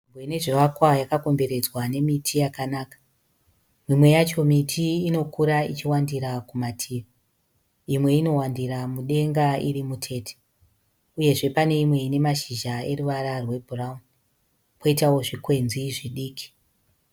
Nzvimbo ine zvivakwa yakakomberedzwa nemiti yakanaka. Mimwe yacho miti inokura ichiwandira kumativi. Imwe inowandira mudenga iri mutete uyezve pane imwe ine mashizha eruvara rwebhurauni poitawo zvikwenzi zvidiki.